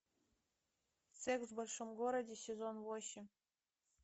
секс в большом городе сезон восемь